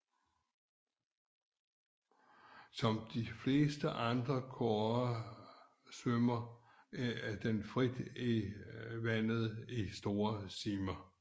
Som de fleste andre kårer svømmer den frit i vandet i store stimer